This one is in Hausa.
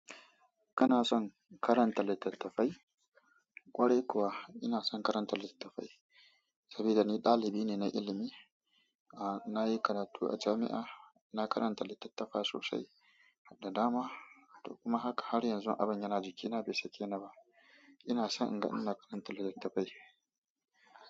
Kana son karanta littattafai? Kwarai kuwa ina son karanta littattafai saboda ni ɗalibi ne na ilimi. Ah, na yi karatu a jami'a, ina karanta littattafa sosai, da dama. Kuma haka har yanzu abin yana jikina bai sake ni ba. Ina son ga ina karanta littattafai.